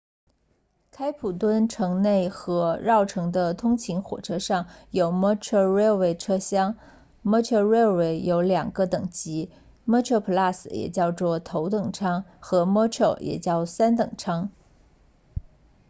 开普敦城内和绕城的通勤火车上有 metrorail 车厢 metrorail 有两个等级 metroplus 也叫头等舱和 metro 也叫三等舱